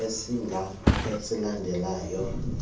esidanga esilandela esokuqala